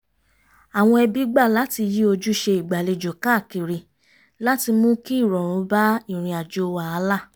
àwọn ẹbí gbà láti yí ojúṣe ìgbàlejò káàkiri láti mú kí ìrọ̀rùn bá ìrìn àjò wàhálà